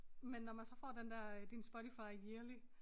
Men når man så får den der øh din Spotify yearly